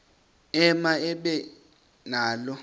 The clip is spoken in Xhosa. ema ibe nalo